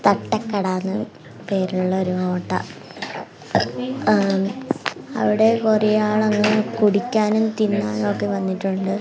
തട്ടകട എന്ന് പേരുള്ള ഒരു ഹോട്ട ങ് അവിടെ കുറെ ആള് അങ്ങ് കുടിക്കാനും തിന്നാനും ഒക്കെ വന്നിട്ടുണ്ട്.